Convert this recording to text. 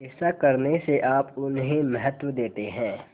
ऐसा करने से आप उन्हें महत्व देते हैं